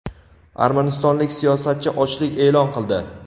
Armanistonlik siyosatchi ochlik e’lon qildi.